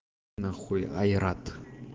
нахуй айрат